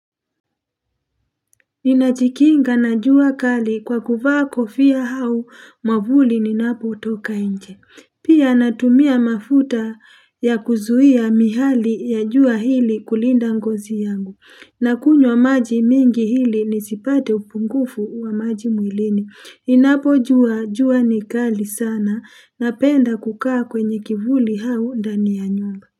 Ninajikinga na jua kali kwa kuvaa kofia au mavuli ninapotoka nje. Pia, natumia mafuta ya kuzuia miale ya jua ili kulinda ngozi yangu. Nakunywa maji mingi, ili nisipate upungufu wa maji mwilini. Ninapojua jua ni kali sana, napenda kukaa kwenye kivuli au ndani ya nyumba.